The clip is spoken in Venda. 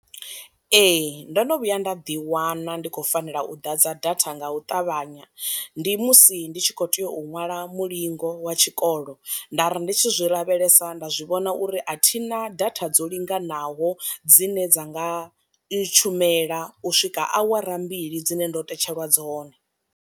Ee ndo no vhuya nda ḓiwana ndi khou fanela u ḓadza datha nga u ṱavhanya, ndi musi ndi tshi kho tea u ṅwala mulingo wa tshikolo, nda ri ndi tshi zwi lavhelesa nda zwi vhona uri a thina data dzo linganaho dzine dza nga ntshumela u swika awara mbili dzine ndo tetshelwa dzone.